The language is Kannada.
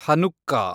ಹನುಕ್ಕಾ